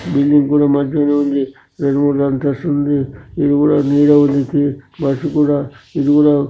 ఇల్లు కూడా మంచనే ఉంది రెండు మూడు అంతస్తులు ఉంది.